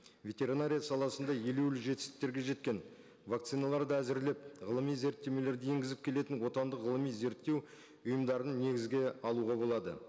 ветеринария саласында ереуіл жетістіктерге жеткен вакциналарды әзірлеп ғылыми зерттемелерді енгізіп келітін отандық ғылыми зерттеу ұйымдарын негізге алуға болады